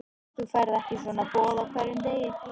En þú færð ekki svona boð á hverjum degi.